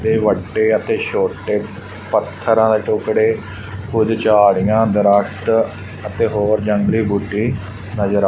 ਤੇ ਵੱਡੇ ਅਤੇ ਛੋਟੇ ਪੱਥਰਾਂ ਦੇ ਟੁਕੜੇ ਕੁਝ ਝਾੜੀਆਂ ਦਰਖਤ ਅਤੇ ਹੋਰ ਜੰਗਲੀ ਬੂਟੀ ਨਜ਼ਰ ਆ--